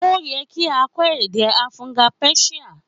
Ó ye kí a kó èdè afughan pérsíà